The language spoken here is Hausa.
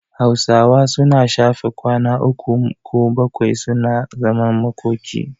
Hausawa suna shafe kwana uku mo bakwai suna zaman makoki.